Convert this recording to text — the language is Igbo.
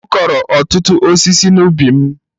M kụrụ ọtụtụ osisi n'ubi m.